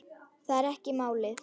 Það er ekki málið.